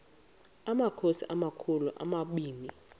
amakhosi amakhulu omabini